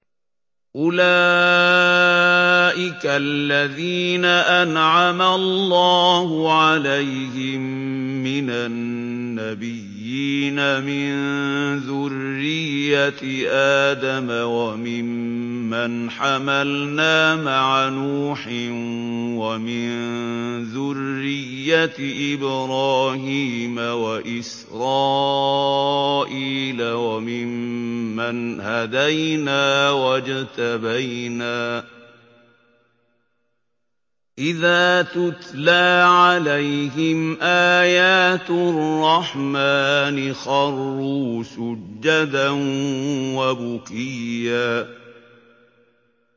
أُولَٰئِكَ الَّذِينَ أَنْعَمَ اللَّهُ عَلَيْهِم مِّنَ النَّبِيِّينَ مِن ذُرِّيَّةِ آدَمَ وَمِمَّنْ حَمَلْنَا مَعَ نُوحٍ وَمِن ذُرِّيَّةِ إِبْرَاهِيمَ وَإِسْرَائِيلَ وَمِمَّنْ هَدَيْنَا وَاجْتَبَيْنَا ۚ إِذَا تُتْلَىٰ عَلَيْهِمْ آيَاتُ الرَّحْمَٰنِ خَرُّوا سُجَّدًا وَبُكِيًّا ۩